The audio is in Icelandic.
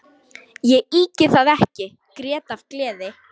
Ég ýki það ekki: grét af gleði.